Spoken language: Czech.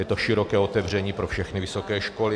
Je to široké otevření pro všechny vysoké školy.